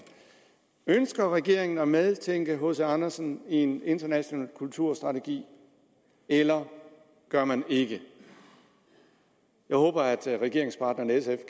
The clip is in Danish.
ønsker regeringen at medtænke hc andersen i en international kulturstrategi eller gør man ikke jeg håber at regeringspartneren sf